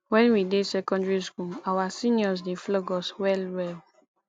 wen we dey secondary school our seniors dey flog us well well